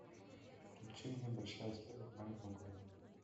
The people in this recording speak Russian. включи мне большая история в маленьком городе